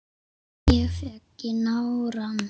Ég fékk í nárann.